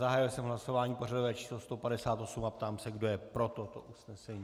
Zahájil jsem hlasování pořadové číslo 158 a ptám se, kdo je pro toto usnesení.